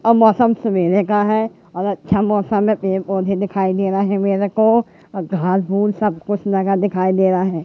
और मौसम सवेरे का है और अच्छा मौसम है पेड़-पौधे दिखाई दे रा है मेरे को और घास भूस सबकुछ रखा दिखाई दे रहा है।